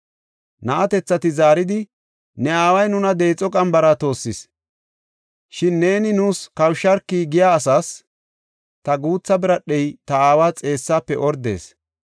Na7atethati zaaridi, “ ‘Ne aaway nuna deexo qambara toossis; shin neeni nuus kawusharki’ giya asaas, ‘Ta guutha biradhey ta aawa xeessaafe ordees.